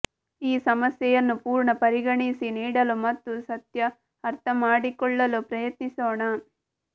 ಈ ಸಮಸ್ಯೆಯನ್ನು ಪೂರ್ಣ ಪರಿಗಣಿಸಿ ನೀಡಲು ಮತ್ತು ಸತ್ಯ ಅರ್ಥಮಾಡಿಕೊಳ್ಳಲು ಪ್ರಯತ್ನಿಸೋಣ